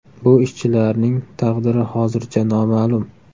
Bu ishchilarning taqdiri hozircha noma’lum.